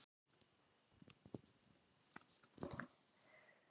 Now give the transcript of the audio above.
Hvernig náðirðu í þetta?